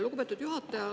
Lugupeetud juhataja!